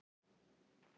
Maðurinn er þrek